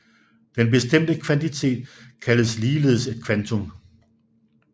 Den bestemte kvantitet kaldes ligeledes et kvantum